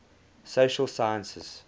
social sciences